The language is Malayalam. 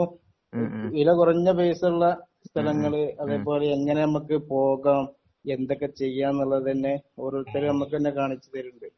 വില കുറഞ്ഞ പൈസയുള്ള സ്ഥലങ്ങൾ അതേപോലെ എങ്ങിനെ നമുക്ക് പോകാം എന്തൊക്കെ ചെയ്യാം എന്നുള്ളതന്നെ ഓരോരുത്തർ നമുക്ക് തന്നെ കാണിച്ച് തരുന്നുണ്ട്